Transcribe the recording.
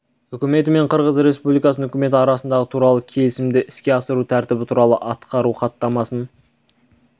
үкіметі мен қырғыз республикасының үкіметі арасындағы туралы келісімді іске асыру тәртібі туралы атқару хаттамасын